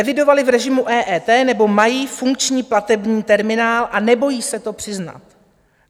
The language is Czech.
Evidovali v režimu EET nebo mají funkční platební terminál a nebojí se to přiznat.